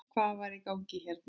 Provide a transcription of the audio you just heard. Hvað var í gangi hérna?